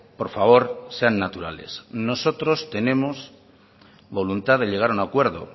por favor sean naturales nosotros tenemos voluntad de llegar a un acuerdo